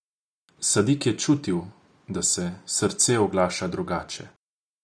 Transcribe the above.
Sadik je čutil, da se srce oglaša drugače.